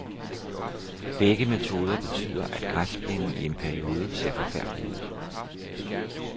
Begge metoder betyder, at græsplænen i en periode ser forfærdelig ud.